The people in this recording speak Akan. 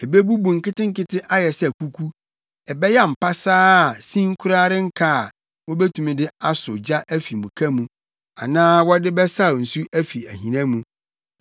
Ebebubu nketenkete ayɛ sɛ kuku. Ɛbɛyam pasaa a, sin koraa renka a wobetumi de asɔ gya afi muka mu anaa wɔde bɛsaw nsu afi ahina mu.”